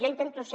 jo intento ser